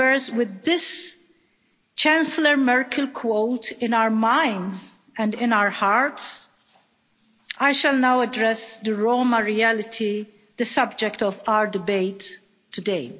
With this Chancellor Merkel quote in our minds and in our hearts, I shall now address the Roma reality, the subject of our debate today.